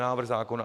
Návrh zákona.